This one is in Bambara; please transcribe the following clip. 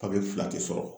Papiye fila te sɔrɔ